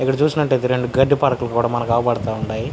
ఇక్కడ చూసినట్టైతే రెండు గడ్డి పడకలు కూడా మనక్ కనపడతా వున్నాయి.